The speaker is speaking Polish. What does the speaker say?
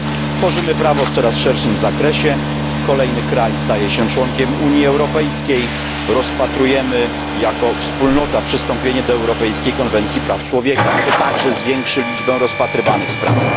Tworzymy prawo w coraz szerszym zakresie, kolejny kraj staje się członkiem Unii Europejskiej, rozpatrujemy jako wspólnota przystąpienie do Europejskiej Konwencji Praw Człowieka to także zwiększy liczbę rozpatrywanych spraw.